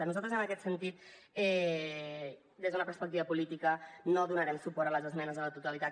nosaltres en aquest sentit des d’una perspectiva política no donarem suport a les esmenes a la totalitat